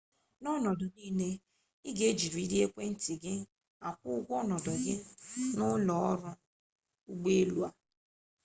n'ọnọdụ niile i ga-ejiriri ekwentị gị akwụ ụgwọ ọnọdụ gị n'ụlọ ọrụ ụgbọelu a